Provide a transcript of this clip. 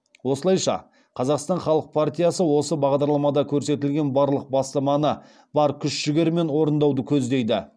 осылайша қазақстан халық партиясы осы бағдарламада көрсетілген барлық бастаманы бар күш жігерімен орындауды көздейді